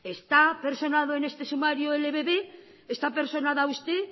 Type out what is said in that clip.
está personado en este sumario el ebb está personada usted